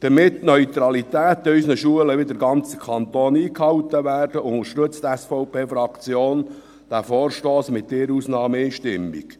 Damit die Neutralität in unseren Schulen wieder im ganzen Kanton eingehalten wird, unterstützt die SVP-Fraktion diesen Vorstoss mit einer Ausnahme einstimmig.